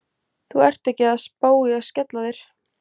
Þú ert ekki að spá í að skella þér?